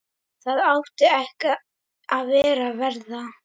Það átti ekki að verða.